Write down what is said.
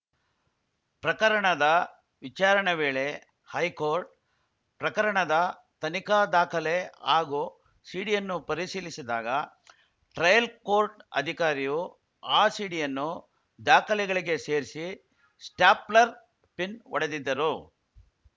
ಪ್ರಕರಣದ ವಿಚಾರಣೆ ವೇಳೆ ಹೈಕೋರ್ಟ್‌ ಪ್ರಕರಣದ ತನಿಖಾ ದಾಖಲೆ ಹಾಗೂ ಸಿಡಿಯನ್ನು ಪರಿಶೀಲಿಸಿದಾಗ ಟ್ರಯಲ್‌ ಕೋರ್ಟ್‌ ಅಧಿಕಾರಿಯು ಆ ಸಿಡಿಯನ್ನು ದಾಖಲೆಗಳಿಗೆ ಸೇರಿಸಿ ಸ್ಟ್ಯಾಪ್ಲರ್‌ ಪಿನ್‌ ಹೊಡೆದಿದ್ದರು